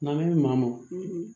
N'an bɛ maa ma